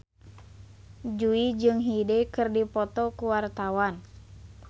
Jui jeung Hyde keur dipoto ku wartawan